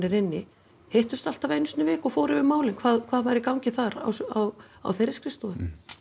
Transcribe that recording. inni hittust alltaf einu sinni í viku og fóru yfir málin hvað hvað væri í gangi þar á á á þeirri skrifstofu